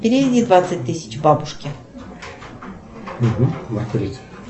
переведи двадцать тысяч бабушке